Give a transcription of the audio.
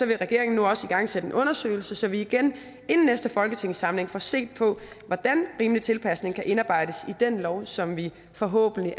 vil regeringen nu også igangsætte en undersøgelse så vi inden næste folketingssamling får set på hvordan rimelig tilpasning kan indarbejdes i den lov som vi forhåbentlig